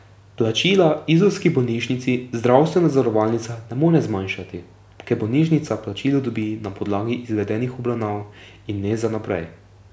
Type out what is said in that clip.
Plačila izolski bolnišnici zdravstvena zavarovalnica ne more zmanjšati, ker bolnišnica plačilo dobi na podlagi izvedenih obravnav in ne za vnaprej.